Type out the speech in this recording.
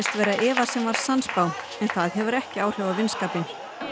vera Eva sem var sannspá en það hefur ekki áhrif á vinskapinn